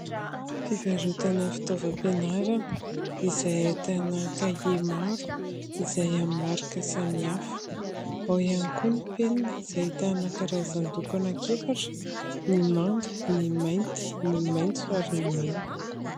Fivarotana fitaovam-pianarana, izay ahitana kahie maro izay amin'ny marika samihafa. Ao ihany koa ny penina izay ahitana karazan-doko anankiefatra : ny manga, ny mainty, ny maitso, , ary ny mena.